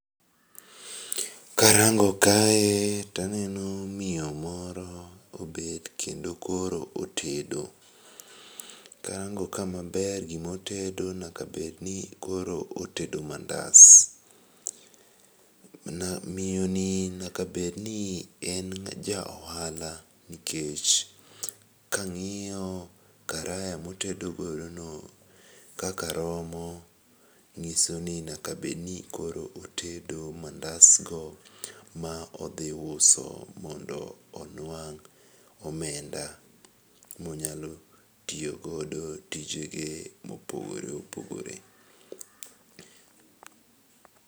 Karango kae taneno miyo moro obet kendo koro otedo, karango ka maber gimotedo nyaka bedni koro otedo mandas. Miyoni nyaka bedni en ja ohala nikech kang'iyo karaya motedo godono kaka romo, ng'iso ni nyaka bedni koro otedo mandasgo ma odhi uso mondo onwang' omenda, monyalo tiyo godo tijege mopogore opogore.